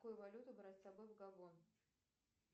какую валюту брать с собой в габон